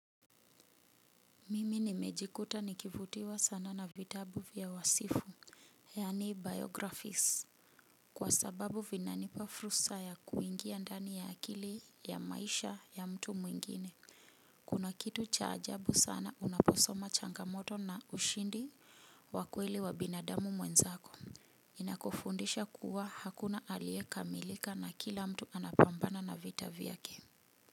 Mimi nimejikuta nikivutiwa sana na vitabu vya wasifu. Yani biographies. Kwa sababu vinanipa furusa ya kuingia ndani ya akili ya maisha ya mtu mwingine. Kuna kitu cha ajabu sana unaposoma changamoto na ushindi wa kweli wa binadamu mwenzako. Inakufundisha kuwa hakuna aliye kamilika na kila mtu anapambana na vita vyake.